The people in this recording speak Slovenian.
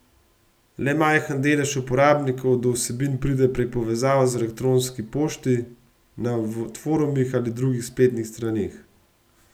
Le majhen delež uporabnikov do vsebin pride prek povezav v elektronski pošti, na forumih ali drugih spletnih straneh.